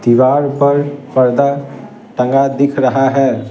दीवार पर पर्दा तंगा दिख रहा है ।